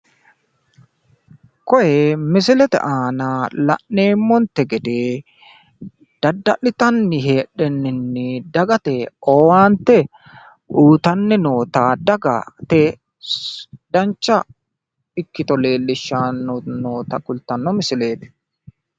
Koye misilete aana la'neemmontte gede dadda'litanni heedheninni dagate owaantte uuyitanni noota daga dancha ikkito leellishshanni noota kultanno misileeti.